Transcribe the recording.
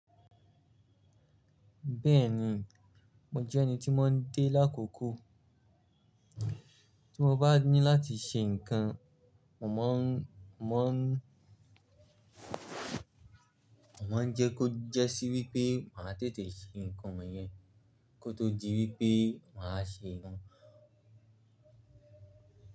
Bẹ́ẹ̀ni, mo jẹ́ ẹni tí máa ń dé lákòókò. Tí mo bá ní láti ṣe nǹkan, mo máa ń, mo máa ń, mo máa ń jẹ́ kó jẹ́ sí wípé màá tètè ṣe ǹkan wọn yẹn kó tó di wípé màá ṣe run.